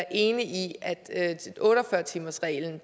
enig i at otte og fyrre timersreglen